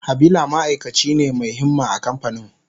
Habila ma'aikaci ne mai himma a kamfanin.